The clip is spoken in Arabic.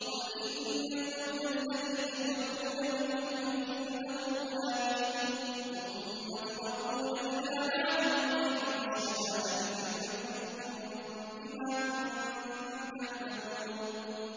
قُلْ إِنَّ الْمَوْتَ الَّذِي تَفِرُّونَ مِنْهُ فَإِنَّهُ مُلَاقِيكُمْ ۖ ثُمَّ تُرَدُّونَ إِلَىٰ عَالِمِ الْغَيْبِ وَالشَّهَادَةِ فَيُنَبِّئُكُم بِمَا كُنتُمْ تَعْمَلُونَ